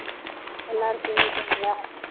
எல்லாரும் தூங்கிட்டாங்களா